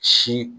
Si